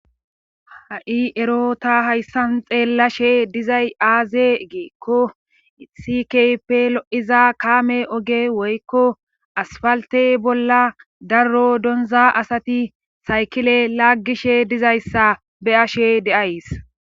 ha7i ero ta hayssan xeellashe dizay aaze geekko issi kehiype lo7iza kaame oge woykko asfaltey bolla darro donza asati saykile laaggishe dizayssa be7ashe de7ays